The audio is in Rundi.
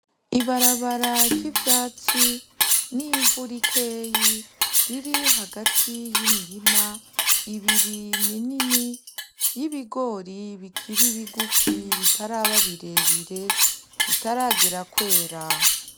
Ibarabara ry'ivyatsi n'ivu rikeyi riri hagati y'imirima, ibiri minini y'ibigori bikiri bigufi bitaraba birebire bitaragera kwera.